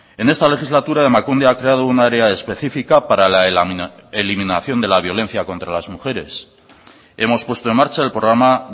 en esta legislatura emakunde ha creado un área específica para la eliminación de la violencia contra las mujeres hemos puesto en marcha el programa